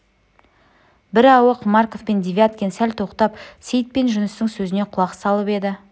бірауық марков пен девяткин сәл тоқтап сейіт пен жүністің сөзіне құлақ салып еді